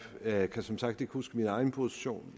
jeg kan som sagt ikke huske min egen position